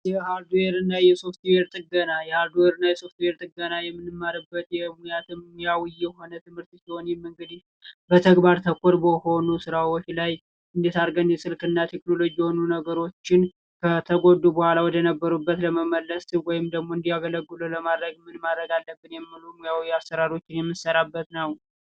የሃርድዌርና የሶፍትዌር ጥገና የሃርድዌርና የሶፍትዌር ጥገና የምንማርበት የሙያዊ የሆነ ትምህርት ሲሆን ይህም እንግዲህ በተግባር ተኮር በሆኑ ስራዎች ላይ እንዴት አድርገን የስልክና ቴክኖሎጂ የሆኑ ነገሮችን ከተጎዱ በኋላ ወደ ነበሩበት ለመመለስ ወይም ደግሞ እንዲያገለግል ለማድረግ ምን ማድረግ አለብኝ የሚሉ ሞያዊ አሠራሩን የምሠራበት ነው።